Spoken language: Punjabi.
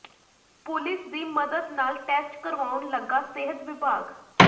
ਪੁਲਿਸ ਦੀ ਮਦਦ ਨਾਲ ਟੈਸਟ ਕਰਵਾਉਣ ਲੱਗਾ ਸਿਹਤ ਵਿਭਾਗ